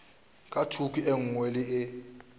ka thoko e nngwe le